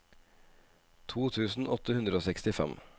to tusen åtte hundre og sekstifem